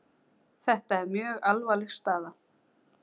Ný landskjörstjórn kosin fljótlega